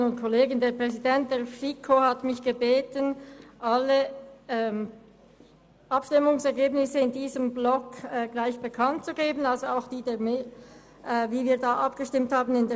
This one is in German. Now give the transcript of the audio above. Die in den Aufgaben-/Finanzplanjahren 2019–2021 im Bericht zum EP 2018 ausgewiesenen Entlastungen sind pro Jahr um jeweils weitere 10 Prozent zu erhöhen, Über die gesamte Periode 2018–2021 ergeben sich dadurch zusätzliche Entlastungen im Umfang von insgesamt CHF 0,06 Millionen.